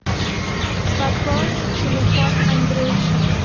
пополнить телефон андрюши